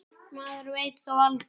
Maður veit þó aldrei.